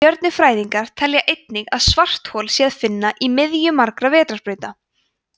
stjörnufræðingar telja einnig að svarthol sé að finna í miðju margra vetrarbrauta